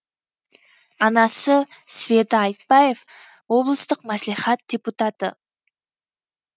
анасы света айтбаев облыстық мәслихат депутаты